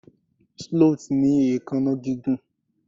sloth ni eekan gigun